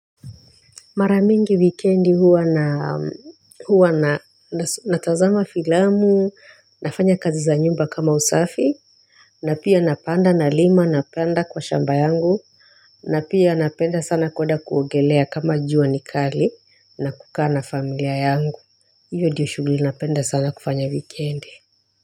Mara mingi wikendi huwa naa huwa na na natazama filamu nafanya kazi za nyumba kama usafi na pia napanda nalima napanda kwa shamba yangu na pia napenda sana kueda kuogelea kama jua nikali na kukaa na familia yangu Iyo diyo shughuli napenda sana kufanya wikendi.